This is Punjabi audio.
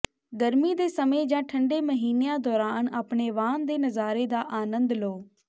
ਗਰਮੀ ਦੇ ਸਮੇਂ ਜਾਂ ਠੰਡੇ ਮਹੀਨਿਆਂ ਦੌਰਾਨ ਆਪਣੇ ਵਾਹਨ ਦੇ ਨਜ਼ਾਰੇ ਦਾ ਅਨੰਦ ਲਓ